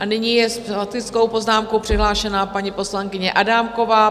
A nyní je s faktickou poznámkou přihlášená paní poslankyně Adámková.